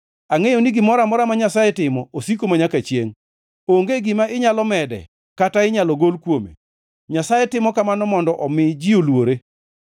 Angʼeyo ni gimoro amora ma Nyasaye timo osiko manyaka chiengʼ, onge gima inyalo mede kata inyalo gol kuome. Nyasaye timo kamano mondo omi ji oluore.